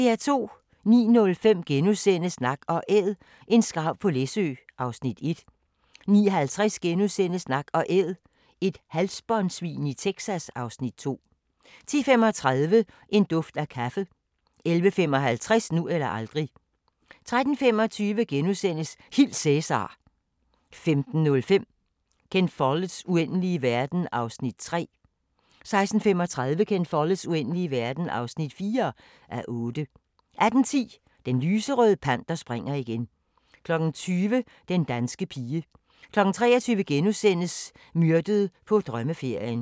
09:05: Nak & Æd – en skarv på Læsø (Afs. 1)* 09:50: Nak & Æd – et halsbåndsvin i Texas (Afs. 2)* 10:35: En duft af kaffe 11:55: Nu eller aldrig 13:25: Hil Cæsar! * 15:05: Ken Folletts Uendelige verden (3:8) 16:35: Ken Follets Uendelige verden (4:8) 18:10: Den lyserøde panter springer igen 20:00: Den danske pige 23:00: Myrdet på drømmeferien *